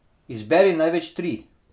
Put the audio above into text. Izberi največ tri.